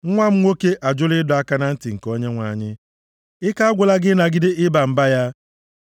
Nwa m nwoke ajụla ịdọ aka na ntị nke Onyenwe anyị, ike agwụla gị ịnagide ịba mba ya.